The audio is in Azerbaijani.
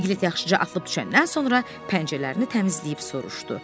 Piqlet yaxşıca atılıb düşəndən sonra pəncərələrini təmizləyib soruşdu.